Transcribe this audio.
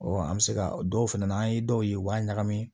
an bɛ se ka dɔw fɛnɛ n' an ye dɔw ye u b'a ɲagami